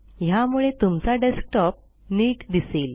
ह्यामूळे तुमचा डेस्कटॉप नीट दिसेल